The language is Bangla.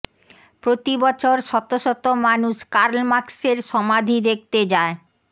প্রতি বছর শত শত মানুষ কার্ল মার্কসের সমাধি দেখতে যায়